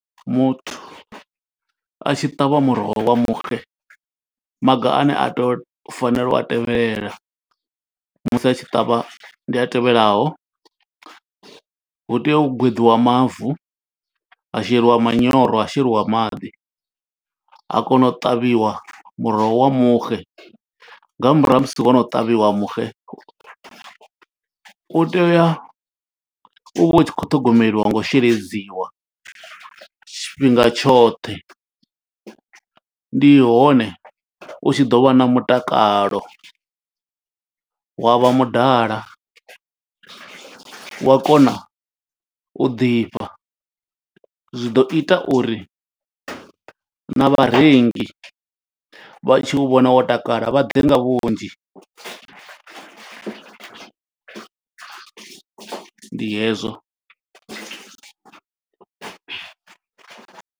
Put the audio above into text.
Muthu a tshi ṱavha muroho wa muxe, maga ane a tea u fanela u a tevhela musi a tshi ṱavha. Ndi a tevhelaho, hu tea u gweḓiwa mavu, ha sheliwa manyoro, ha sheliwa maḓi, ha kona u ṱavhiwa muroho wa muxe. Nga murahu ha musi wo no ṱavhiwa muxe, u tea uya, u vha u tshi khou ṱhogomeliwa ngo u sheledziwa tshifhinga tshoṱhe. Ndi hone u tshi ḓo vha na mutakalo, wa vha mudala wa kona u ḓifha. Zwi ḓo ita uri na vharengi vha tshi u vhona wo takala vha ḓe nga vhunzhi. Ndi hezwo.